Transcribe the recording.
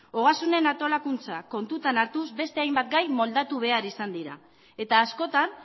ogasunen antolakuntza kontutan hartuz beste hainbat gai moldatu behar izan dira eta askotan